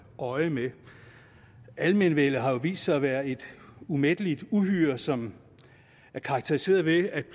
øje med almenvellet har jo vist sig at være et umætteligt uhyre som er karakteriseret ved at